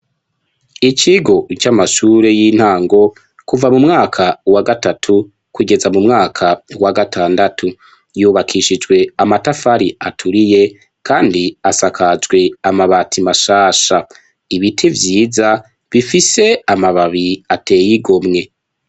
Ikigo c'amashure yintango, ku mu.mwaka va gatatu , kugeza mu mwaka wa gatandatu. Yubakishijwe amatafari aturiye , ksndi asakajwe amabati mashasha. Ibiti vyiza , bifise amabati atey'igomwe.